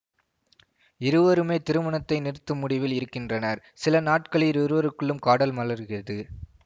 இருவருமே திருமணத்தை நிறுத்தும் முடிவில் இருக்கின்றனர் சில நாட்களில் இருவருக்குள்ளும் காதல் மலர்கிறது